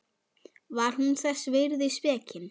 Var hún þess virði spekin?